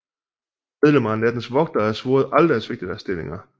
Medlemmer af Nattens Vogtere er svoret aldrig at svigte deres stillinger